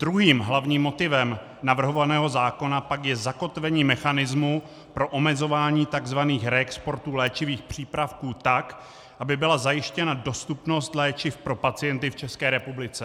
Druhým hlavním motivem navrhovaného zákona pak je zakotvení mechanismu pro omezování tzv. reexportů léčivých přípravků tak, aby byla zajištěna dostupnost léčiv pro pacienty v České republice.